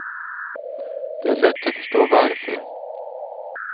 Det är lätt att förstå varför.